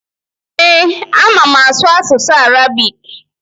Ee, ama m asụ asụsụ Arabik.